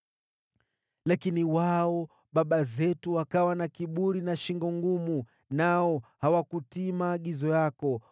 “Lakini wao, baba zetu, wakawa na kiburi na shingo ngumu, nao hawakutii maagizo yako.